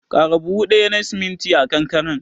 Ƙara buhu ɗaya na siminti a kankaren.